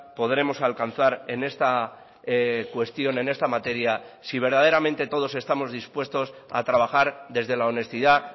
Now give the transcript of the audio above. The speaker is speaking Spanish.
podremos alcanzar en esta cuestión en esta materia si verdaderamente todos estamos dispuestos a trabajar desde la honestidad